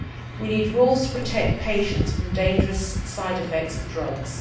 We need rules to protect patients from dangerous side effects of drugs.